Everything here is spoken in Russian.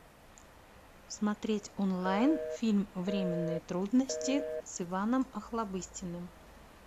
смотреть онлайн фильм временные трудности с иваном охлобыстиным